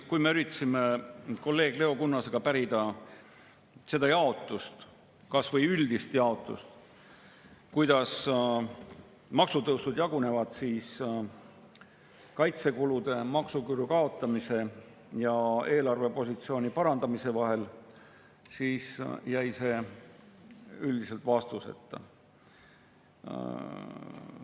Kui me üritasime kolleeg Leo Kunnasega pärida kas või üldist jaotust, kuidas maksutõusud jagunevad kaitsekulude, maksuküüru kaotamise ja eelarvepositsiooni parandamise vahel, siis jäi see üldiselt vastuseta.